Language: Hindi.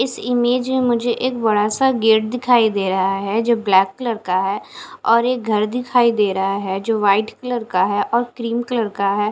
इस इमेज में मुझे एक बड़ा सा गेट दिखाई दे रहा है जो ब्लैक कलर का है और एक घर दिखाई दे रहा है जो व्हाइट कलर का है और क्रीम कलर का है।